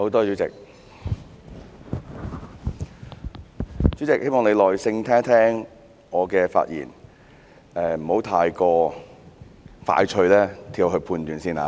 主席，我希望你耐心聆聽我的發言，不要太快作出判斷。